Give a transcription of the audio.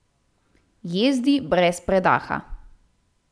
Jezdi brez predaha.